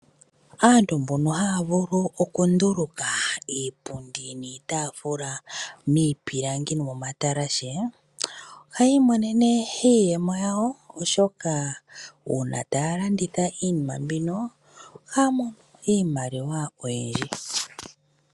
Aantu mbono haa vulu okunduluka iipundi niitaafula miipilangi nomoma talashe ohayii monene iiyemo yawo oshoka uuna taa landitha iinima mbino ohaa mono iimaliwa oyindji.